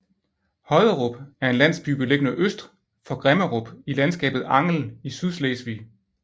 Hodderup er en landsby beliggende øst for Grimmerup i landskabet Angel i Sydslesvig